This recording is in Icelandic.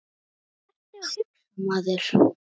Hvað ertu að hugsa, maður?